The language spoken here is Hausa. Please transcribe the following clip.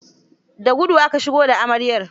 The guɗa aka shigo da amaryar.